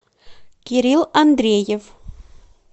кирилл андреев